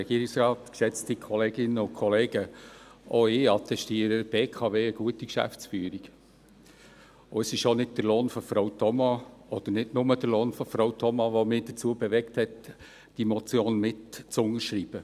Auch ich attestiere der BKW eine gute Geschäftsführung, und es ist nicht nur der Lohn von Frau Thoma, oder der Lohn von Frau Thoma, der mich dazu bewegte, diese Motion mitzuunterschreiben.